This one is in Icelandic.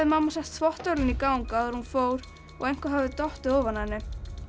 mamma sett þvottavélina í gang áður en hún fór og eitthvað hafði dottið ofan af henni